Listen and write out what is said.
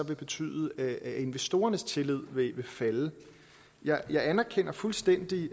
betyde at investorernes tillid vil falde jeg anerkender fuldstændig